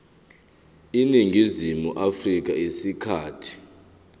eningizimu afrika isikhathi